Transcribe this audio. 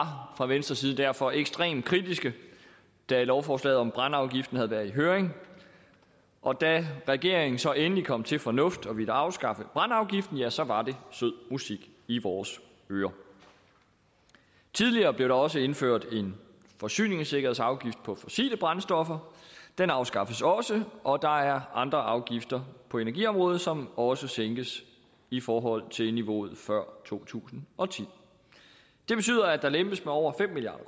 fra venstres side derfor ekstremt kritiske da lovforslaget om brændeafgiften havde været i høring og da regeringen så endelig kom til fornuft og ville afskaffe brændeafgiften ja så var det sød musik i vores ører tidligere blev der også indført en forsyningssikkerhedsafgift på fossile brændstoffer den afskaffes også og der er andre afgifter på energiområdet som også sænkes i forhold til niveauet før to tusind og ti det betyder at der lempes med over fem milliard